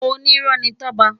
Ónirò ni Toba